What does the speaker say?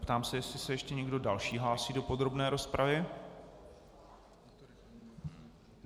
Ptám se, jestli se ještě někdo další hlásí do podrobné rozpravy.